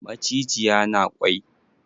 Macijiya na kwai?